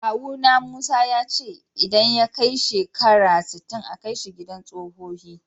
Kawu na Musa, ya ce idan ya kai shekara sitin a Kai shi idan sohohi.